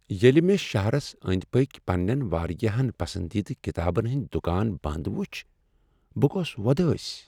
ییٚلہ مےٚ شہرس أنٛدۍ پٔکۍ پننین واریاہن پسندیدٕ کتابن ہٕنٛدۍ دکان بند ؤچھ، بہٕ گوس وودٲسۍ ۔